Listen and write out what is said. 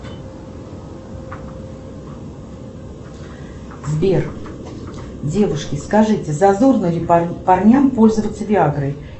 сбер девушки скажите зазорно ли парням пользоваться виагрой